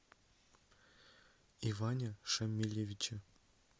иване шамилевиче